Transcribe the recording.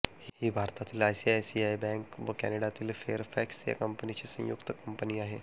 ही भारतातील आयसीआयसीआय बॅंक व कॅनडातील फेअरफॅक्स या कंपनींची संयुक्त कंपनी आहे